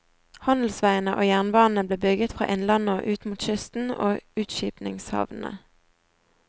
Handelsveiene og jernbanene ble bygget fra innlandet og ut mot kysten og utskipningshavnene.